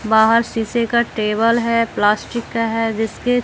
बाहर शीशे का टेबल है प्लास्टिक का है जिसकी--